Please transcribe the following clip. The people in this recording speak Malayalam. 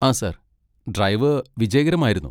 ആ സാർ, ഡ്രൈവ് വിജയകരമായിരുന്നു.